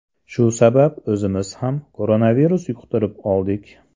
Shu sabab o‘zimiz ham koronavirus yuqtirib oldik.